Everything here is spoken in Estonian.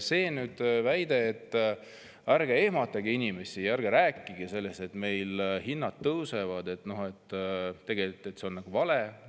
Siin, et ärge ehmatage inimesi, ärge rääkige sellest, et meil hinnad tõusevad, sest tegelikult see on vale.